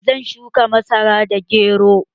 Zan shuka masara da gero